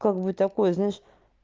как бы такое знаешь